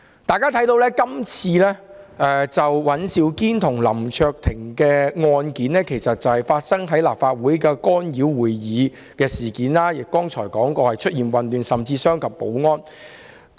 大家可以看見，今次尹兆堅議員和林卓廷議員的案件，其實是關於立法會會議受到干擾，正如我剛才所說，事件中出現混亂情況，甚至傷及保安人員。